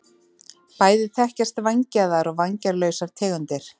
Bæði þekkjast vængjaðar og vænglausar tegundir.